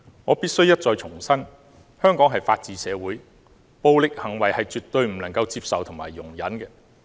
我必須一再重申，香港是法治社會，暴力行為是絕對不能夠接受和容忍的。